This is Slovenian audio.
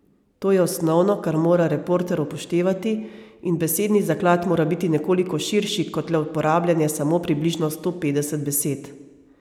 To je osnovno, kar mora reporter upoštevati, in besedni zaklad mora biti nekoliko širši kot le uporabljanje samo približno sto petdeset besed.